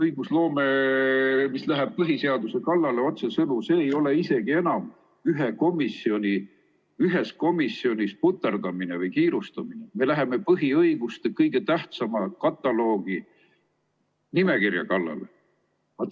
Õigusloome, mis läheb otsesõnu põhiseaduse kallale, see ei ole isegi enam ühes komisjonis puterdamine või kiirustamine, me läheme põhiõiguste kõige tähtsama kataloogi, nimekirja kallale.